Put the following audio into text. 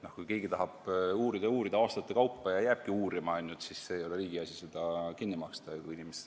Kui keegi tahab uurida ja uurida aastate kaupa ja jääbki ainult uurima, siis ei ole riigi asi seda kinni maksta.